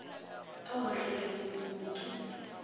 ao a hlakanego moono ke